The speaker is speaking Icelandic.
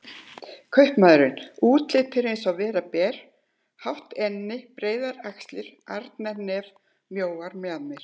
Kaupmaðurinn: útlitið er eins og vera ber, hátt enni, breiðar axlir, arnarnef, mjóar mjaðmir.